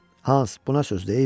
Hans, buna sözdür?